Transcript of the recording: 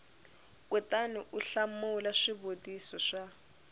kutani u hlamula swivutiso swa